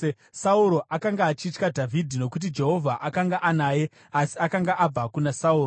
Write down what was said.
Sauro akanga achitya Dhavhidhi, nokuti Jehovha akanga anaye asi akanga abva kuna Sauro.